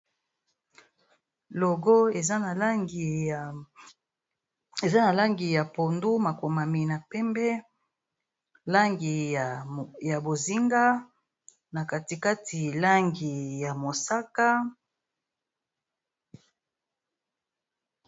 Logo eza na langi ya pondu, makomami na pembe langi ya bozinga na katikati langi ya mosaka.